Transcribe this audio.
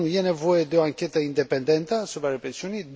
1. e nevoie de o anchetă independentă asupra represiunii